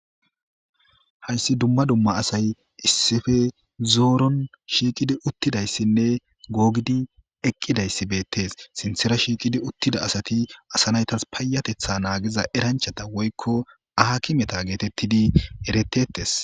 hayssi dumma dumma asay issefe zooron shiiqidi uttidayssinne googidi eqqidayssi beettes sinthera shiiqidi uttida asati asanaytas payatetha naagiza eranchata woykko aha kimeta geetettidi eretettes